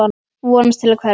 Vonast til að hverfa.